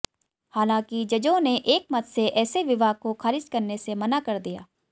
हालांकि जजों ने एक मत से ऐसे विवाह को खारिज करने से मना कर दिया